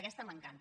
aquesta m’encanta